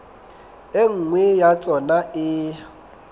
e nngwe ya tsona e